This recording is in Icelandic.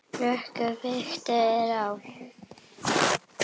Rökum byggt er á.